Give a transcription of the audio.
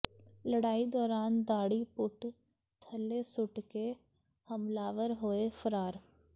ਲੜਾਈ ਦੌਰਾਨ ਦਾੜ੍ਹੀ ਪੁੱਟ ਥੱਲੇ ਸੁੱਟ ਕੇ ਹਮਲਾਵਰ ਹੋਏ ਫ਼ਰਾਰ